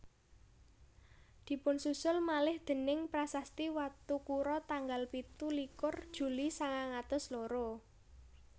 Dipunsusul malih déning prasasti Watukura tanggal pitu likur Juli sangang atus loro